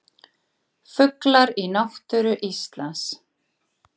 Fuglar í náttúru Íslands.